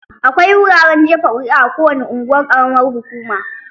Akwai wuraren jefa ƙuri'a a kowane unguwar ƙaramar hukuma.